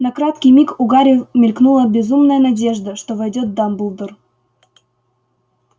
на краткий миг у гарри мелькнула безумная надежда что войдёт дамблдор